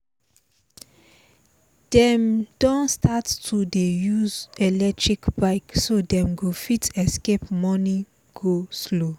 dem don start to dey use electric bike so them go fit escape morning go-slow